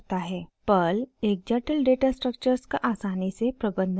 Perl एक जटिल data structures का आसानी से प्रबन्धन करता है